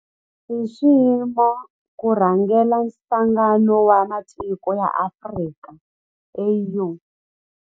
I nxiximo ku rhangela Nhlangano wa Matiko ya Afrika, AU.